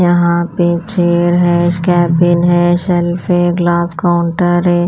यहाँ पे चेयर है सकैबिन है शेल्फे ग्लास काउंटर है।